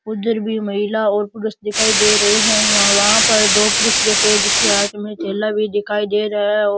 उधर भी महिला और पुरुष दिखाई दे रहे है वहां पर दो पुरुष भी बैठे हुए है जिसके हाथ में थैला भी दिखाई दे रहा है और --